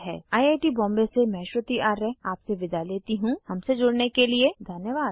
I I T Bombay से मैं श्रुति आर्य आपसे विदा लेती हूँ हमसे जुड़ने के लिए धन्यवाद